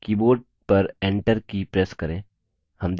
keyboard पर enter की press करें